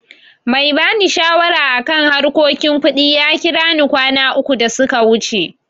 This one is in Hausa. Mai ba ni shawara a kan harkokin kuɗi ya kira ni kwana uku da suka wuce.